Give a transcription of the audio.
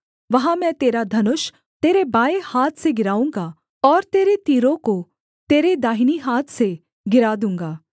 वहाँ मैं तेरा धनुष तेरे बाएँ हाथ से गिराऊँगा और तेरे तीरों को तेरे दाहिनी हाथ से गिरा दूँगा